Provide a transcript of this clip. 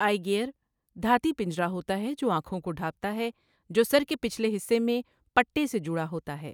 آئی gear دھاتی پنجرا ہوتا ہے جو آنکھوں کو ڈھانپتا ہے جو سر کے پچھلے حصے میں پٹے سے جڑا ہوتا ہے۔